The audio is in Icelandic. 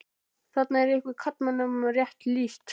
Þarna er ykkur karlmönnum rétt lýst.